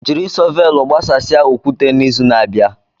Jiri shọvel gbasasịa okwute n'izu na-abịa.